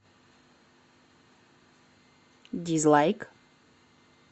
дизлайк